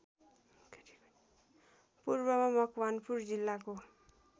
पूर्वमा मकवानपुर जिल्लाको